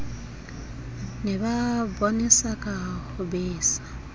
ne ba bonesaka ho besa